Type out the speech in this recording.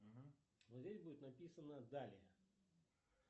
угу вот здесь будет написано далее